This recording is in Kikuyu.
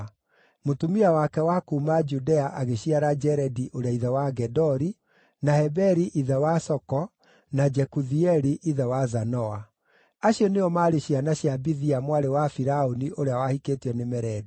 (Mũtumia wake wa kuuma Judea agĩciara Jeredi ũrĩa ithe wa Gedori, na Heberi ithe wa Soko, na Jekuthieli ithe wa Zanoa.) Acio nĩo maarĩ ciana cia Bithia mwarĩ wa Firaũni ũrĩa wahikĩtio nĩ Meredi.